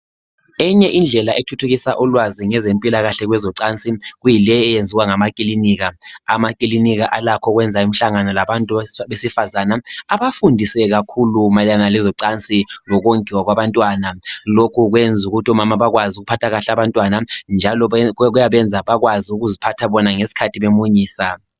Enye indlela ethuthukisa ulwazi ngezempilakahle kwezocansi , kuyileyi eyenzima ngama klinika , amaklinika alakho ukwenza imihlangano labantu besifazana abafundise kakhulu mayelana lezocansi lokongiwa kwabantwana , lokhu kwenza ukuthi omama bakwazi ukuphatha kahle abantwana njalo kuyabenza bakwazi ukuziphatha bona ngeskhathi bemunyisa